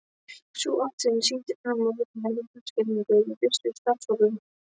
Sú athugun sýndi fram á verulega heyrnarskerðingu í vissum starfshópum.